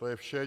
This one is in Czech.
To je vše.